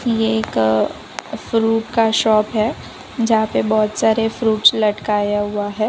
ये एक फ्रूट का शॉप है जहां पे बहोत सारे फ्रूट्स लटकाया हुआ है।